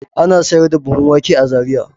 Ana sayar da buhun wake a Zariya.